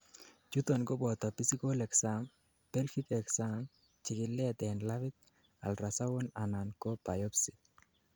chuton koboto physical exam, pelvic exam, chikilet en labit, ultrasound anan ko biopsy